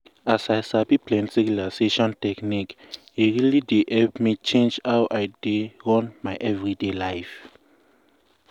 as i sabi plenty relaxation technique e really dey help me change how i dey run my everyday life.